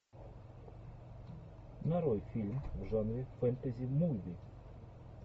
нарой фильм в жанре фэнтези муви